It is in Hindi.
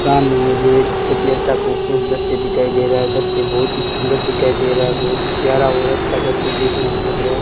सामने मुझे एक बहुत ही अच्छा खूबसूरत दृश्य दिखाई दे रहा है इधर से बहुत ही सुंदर दिखाई दे रहा है बहुत प्यारा और अच्छा दृश्य देखने को मिल रहा है।